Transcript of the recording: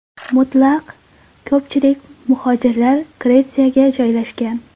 Mutlaq ko‘pchilik muhojirlar Gretsiyaga joylashgan.